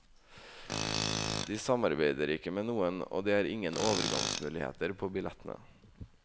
De samarbeider ikke med noen, og det er ingen overgangsmuligheter på billettene.